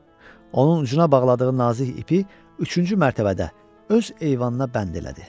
Onun ucuna bağladığı nazik ipi üçüncü mərtəbədə öz eyvanına bənd elədi.